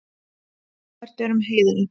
Ófært er um heiðina.